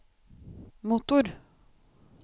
motor